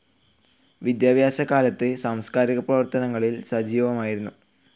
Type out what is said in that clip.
വിദ്യാഭ്യാസ കാലത്ത് സാംസ്കാരിക പ്രവർത്തനങ്ങളിൽ സജീവമായിരുന്നു.